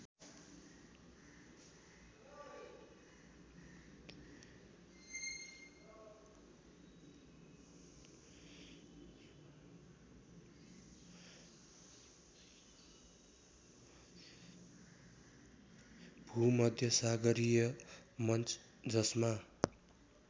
भूमध्यसागरीय मन्च जसमा